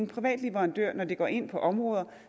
private leverandører når de går ind på områder